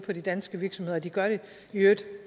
på de danske virksomheder og de gør det i øvrigt